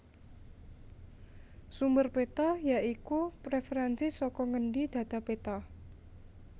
Sumber péta ya iku réferènsi saka ngendi dhata péta